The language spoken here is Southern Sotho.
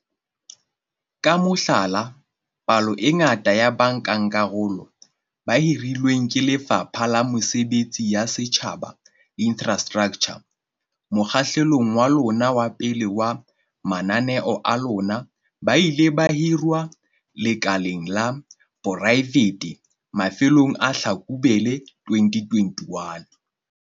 Ka mohlala, palo e ngata ya bankakarolo ba hirilweng ke Lefapha la Mesebetsi ya Setjhaba le Infrastraktjha mokgahlelong wa lona wa pele wa mananeo a lona ba ile ba hirwa lekaleng la poraefete mafelong a Tlhakubele 2021.